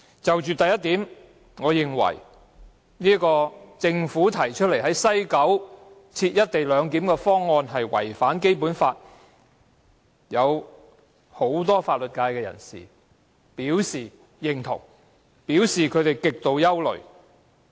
就着第一點，我認為政府提出在西九龍站實施"一地兩檢"的方案違反《基本法》，這一點已獲得不少法律界人士認同，他們更對此表示極度憂慮。